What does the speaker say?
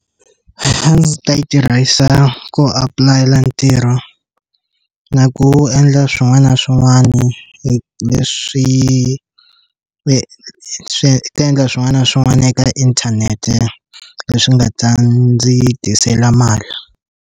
A ndzi ta yi tirhisa ku apulayela ntirho na ku endla swin'wana na swin'wana hi leswi swi ta endla swin'wana na swin'wana eka inthanete leswi nga ta ndzi tisela mali.